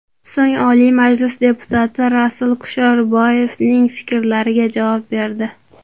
So‘ng Oliy Majlis deputati Rasul Kusherboyevning fikrlariga javob berdi.